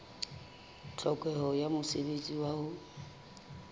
tlhokeho ya mosebetsi wa ho